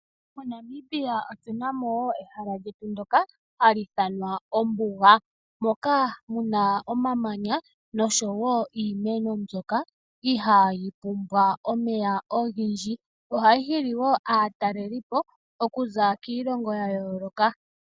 MoNamibia otu na mo ehala lyetu ndyoka hali ithanwa ombuga, moka mu na omamanya noshowo iimeno mbyoka ihayi pumbwa omeya ogendji. Ohayi hili woo aatalelipo okuza kiilongo ya yooloka.